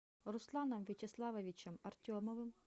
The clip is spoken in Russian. русланом вячеславовичем артемовым